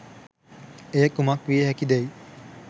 එය කුමක් විය හැකිදැ'යි